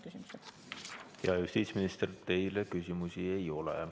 Hea justiitsminister, teile küsimusi ei ole.